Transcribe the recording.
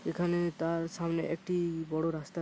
এখানে তার সামনে একটি বড় রাস্তা--